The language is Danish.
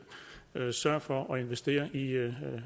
sørge for at investere i